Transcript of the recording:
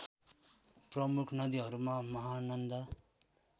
प्रमुख नदीहरूमा महानन्दा